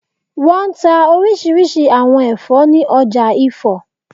Wọ́n n ta orísirísi àwọn ẹ̀fọ́ ní ọjà Ifo